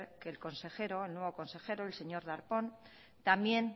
que el consejero el nuevo consejero señor darpón también